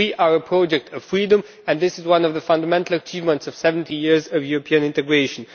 We are a project for freedom, and this is one of the fundamental achievements of 70 years of European integration.